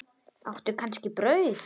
Áttu kannski brauð?